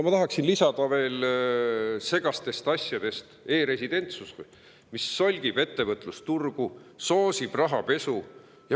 Ma tahaksin veel, et on segaseid asju seoses e‑residentsusega, mis solgib ettevõtlusturgu ja soosib rahapesu.